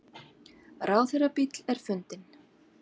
Ráðherrabíll er fundinn